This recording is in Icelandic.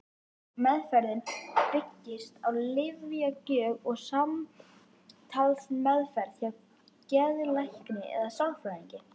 Meðferðin byggist á lyfjagjöf og samtalsmeðferð hjá geðlækni eða sálfræðingi.